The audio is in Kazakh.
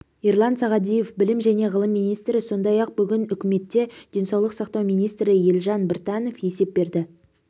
ерлан сағадиев білім және ғылым министрі сондай-ақ бүгін үкіметте денсаулық сақтау министрі елжан біртанов есеп берді